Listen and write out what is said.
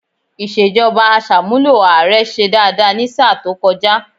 Ìṣèjọba Àṣàmúlò ààrẹ ṣe dáadáa ní sáà tó kọjá